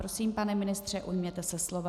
Prosím, pane ministře, ujměte se slova.